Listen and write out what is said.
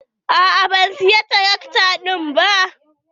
A'a ban saya tarakta ɗin ba.